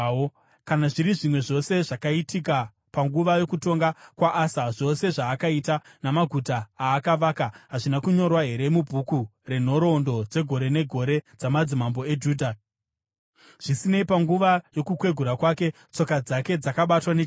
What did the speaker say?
Kana zviri zvimwe zvose zvakaitika panguva yokutonga kwaAsa, zvose zvaakaita, namaguta aakavaka, hazvina kunyorwa here mubhuku renhoroondo dzegore negore dzamadzimambo eJudha? Zvisinei, panguva yokukwegura kwake, tsoka dzake dzakabatwa nechirwere.